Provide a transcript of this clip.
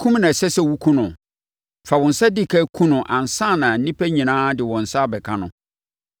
Kum na ɛsɛ sɛ wokum no. Fa wo nsa di ɛkan kum no ansa na nnipa nyinaa de wɔn nsa abɛka ho.